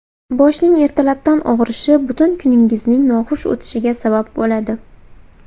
Boshning ertalabdan og‘rishi butun kuningizning noxush o‘tishiga sabab bo‘ladi.